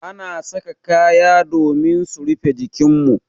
Ana saka kaya domin su rufe jikin mu.